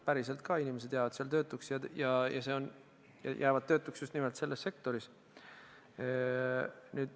Päriselt jäävad inimesed seal töötuks ja jäävad töötuks just nimelt selles sektoris.